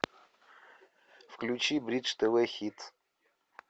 включи бридж тв хит